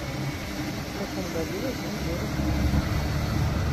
в каком году возник город рим